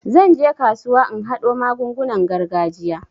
Zan je kasuwa in haɗo magungunan gargajiya.